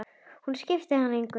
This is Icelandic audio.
Hún skipti hann engu máli.